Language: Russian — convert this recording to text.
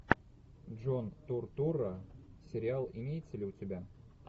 джон туртурро сериал имеется ли у тебя